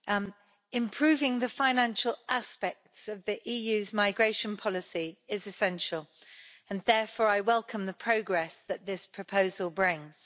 Madam President, improving the financial aspects of the EU's migration policy is essential and, therefore, I welcome the progress that this proposal brings.